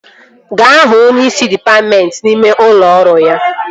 Gaa hụ onyeisi dịpatmentị n'ime ụlọ ọrụ ya!